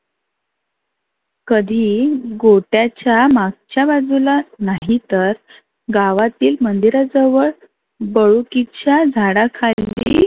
कधी गोठ्याच्या मागच्या बाजूला नाहीतर गावातील मंदिरा जवळ. पळूकिच्या झाडा खाली